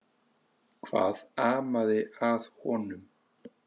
Hvað amaði að honum?